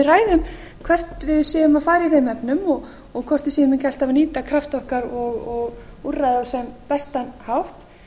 ræðum hvert við séum að fara í þeim efnum og hvort við séum ekki alltaf að nýta krafta okkar og úrræði á sem bestan hátt